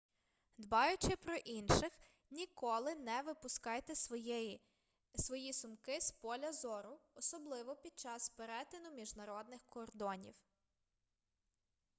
дбаючи про інших ніколи не випускайте свої сумки з поля зору особливо під час перетину міжнародних кордонів